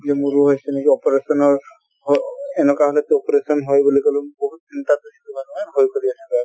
বোলো মোৰো হৈছে নেকি operation ৰ অহ এনকা হʼলেতো operation হয় বুলি কলো বহুত চিন্তা ভয় কৰি আছো আৰু